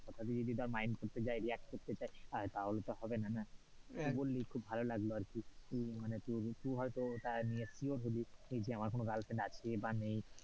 কথা টা যদি তোর mind করতে যাই react করতে যাই তাহলে তো হবে না না, তুই বললি খুব ভালো লাগলো আরকি মানে তুই হয়তো তা নিয়ে sure হোলি যে মার্ কোনো girlfriend আছে বা নেই,